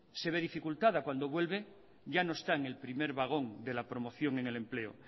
se ve dificultada cuando vuelve ya no está en el primer vagón de la promoción en el empleo